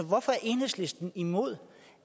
hvorfor er enhedslisten imod